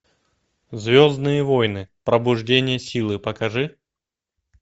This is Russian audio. звездные войны пробуждение силы покажи